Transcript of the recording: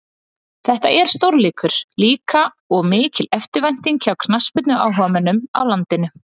Þetta er stórleikur líka og mikil eftirvænting hjá knattspyrnuáhugamönnum á landinu.